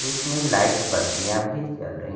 इसमें लाइट बत्तियां भी जल रही--